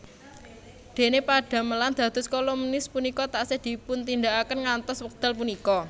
Dene padamelan dados kolumnis punika taksih dipuntindakaken ngantos wekdal punika